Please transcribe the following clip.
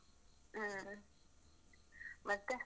ಹ್ಮ್, ಮತ್ತೆ?